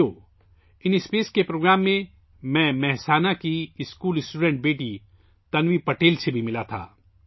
ساتھیو، in space کے programme میں، میری ملاقات مہسانہ کی ایک اسکول کی طالبہ بیٹی تنوی پٹیل سے بھی ہوئی